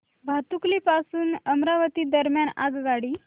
भातुकली पासून अमरावती दरम्यान आगगाडी